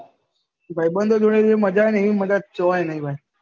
ભાઈબંધો જોડે જે મજા આવે એવી મજા કોઈ નહિ ભાઈ